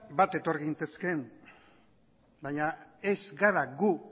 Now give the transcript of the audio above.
bat etor gintezkeen baina ez gara gu